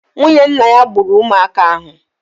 Nwunye nna ya gburu ụmụaka ahụ.